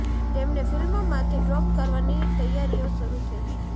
તેમને ફિલ્મમાંથી ડ્રોપ કરવાની તૈયારીઓ શરૂ થઈ ગઈ